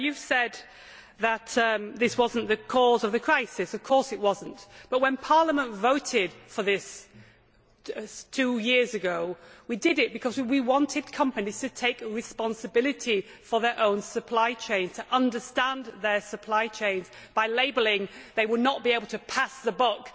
Now, you have said that this was not the cause of the crisis of course it was not, but when Parliament voted for this two years ago we did so because we wanted companies to take responsibility for their own supply chains, to understand their supply chains. By labelling they would not be able to pass the buck